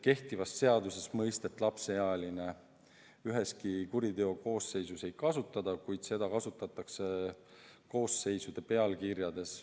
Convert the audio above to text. Kehtivas seaduses mõistet "lapseealine" üheski kuriteokoosseisus ei kasutata, kuid seda kasutatakse koosseisude pealkirjades.